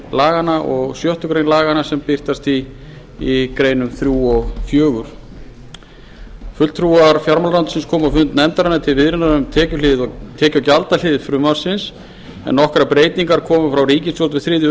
fimmta og sjöttu grein laganna sem birtast í greinum þrjú og fjórða fulltrúar fjármálaráðuneytisins komu á fund nefndarinnar til viðræðna um tekju og gjaldahlið frumvarpsins en nokkrar breytingar komu frá ríkisstjórn fyrir þriðju